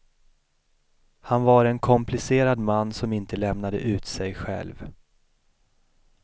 Han var en komplicerad man som inte lämnade ut sig själv.